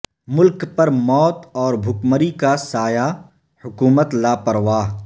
ملک پر موت اور بھکمری کا سایہ حکومت لاپرواہ